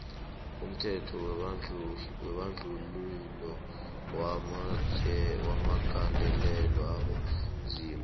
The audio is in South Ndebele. umthetho webandluhilo wawu gandelela abonzima